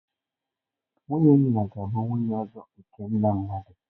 Nwunye nna ga-abụ nwunye ọzọ nke nna mmadụ.